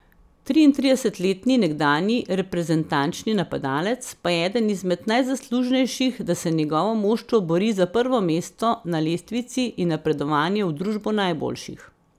Triintridesetletni nekdanji reprezentančni napadalec pa je eden izmed najzaslužnejših, da se njegovo moštvo bori za prvo mesto na lestvici in napredovanje v družbo najboljših.